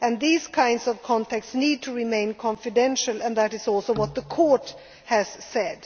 EU law. Those kinds of contacts need to remain confidential, and that is also what the Court